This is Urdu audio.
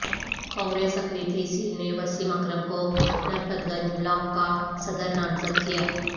کانگریس اقلیتی سیل نےوسیم اکرم کو نرپت گنج بلاک کا صدر نامزد کیا